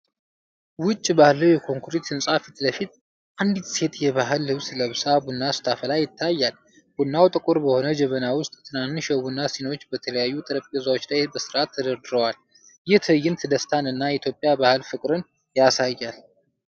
ውጭ ባለው የኮንክሪት ህንጻ ፊት ለፊት፣ አንዲት ሴት የባህል ልብስ ለብሳ ቡና ስታፈላ ይታያል። ቡናው ጥቁር በሆነ ጀበና ውስጥ፣ ትናንሽ የቡና ሲኒዎች በተለያዩ ጠረጴዛዎች ላይ በስርዓት ተደርድረዋል። ይህ ትዕይንት ደስታን እና የኢትዮጵያን ባህል ፍቅር ያሳያል።